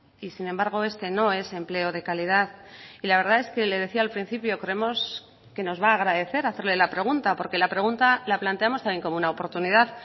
y sin embargo este no es empleo de calidad y la verdad es que le decía al principio creemos que nos va a agradecer hacerle la pregunta porque la pregunta la planteamos también como una oportunidad